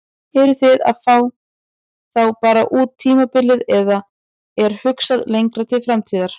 Eruð þið að fá þá bara út tímabilið eða er hugsað lengra til framtíðar?